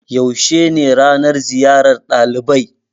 Yaushe ne ranan ziyar ɗalibai?